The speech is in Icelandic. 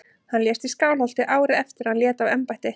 Hann lést í Skálholti árið eftir að hann lét af embætti.